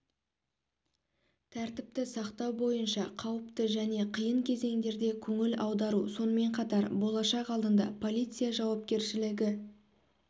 тәртіпті сақтау бойынша қауіпті және қиын кезеңдерде көңіл аудару сонымен қатар болашақ алдында полиция жауапкершілігі